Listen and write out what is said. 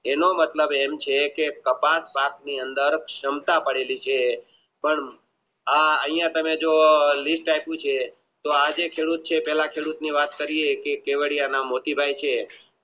એનો મતલબ એમ છે કપાસ ની અંદર ક્ષમતા કરેલી છે અહીંયા તમે જોવો લિસ્ટ આપ્યું છે તો આજે ખેડૂત ની વાત કરીયે